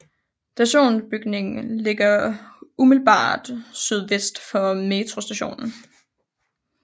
Stationsbygningen ligger umiddelbart sydvest for metrostationen